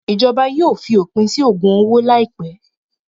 Ìjọba yóò fi òpin sí ògùn owó láìpẹ́.